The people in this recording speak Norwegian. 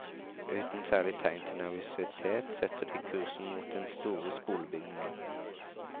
Uten særlig tegn til nervøsitet, setter de kursen mot den store skolebygningen.